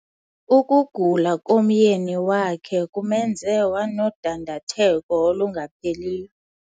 Ukugula komyeni wakhe kumenze wanodandatheko olungapheliyo?